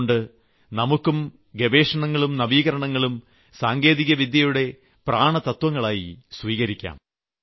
അതുകൊണ്ട് നമുക്കും ഗവേഷണങ്ങളും നവീകരണങ്ങളും സാങ്കേതികവിദ്യയുടെ പ്രാണതത്വങ്ങളായി സ്വീകരിക്കാം